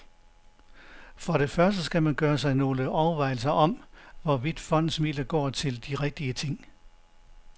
For det første skal man gøre sig nogle overvejelser om, hvorvidt fondens midler går til de rigtige ting.